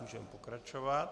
Můžeme pokračovat.